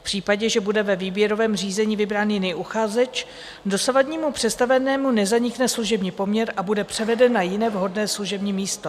V případě, že bude ve výběrovém řízení vybrán jiný uchazeč, dosavadnímu představenému nezanikne služební poměr a bude převeden na jiné vhodné služební místo.